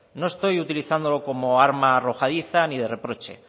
no estoy utilizándolo como arma arrojadiza ni de reproche